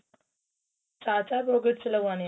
ਚਾਰ ਚਾਰ pockets ਲੱਗਵਾਣੀ ਏ